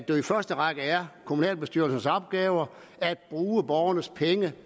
jo i første række er kommunalbestyrelsens opgave at bruge borgernes penge